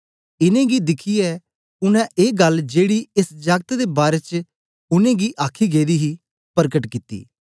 इनेंगी दिखियै उनै ए गल्ल जेड़ी एस जागत दे बारै च उनै गी आखी गेदी ही परकट कित्ती